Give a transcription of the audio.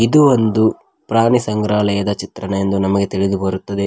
ಇದು ಒಂದು ಪ್ರಾಣಿ ಸಂಗ್ರಾಲಯದ ಚಿತ್ರಣ ಎಂದು ನಮಗೆ ತಿಳಿದು ಬರುತ್ತದೆ.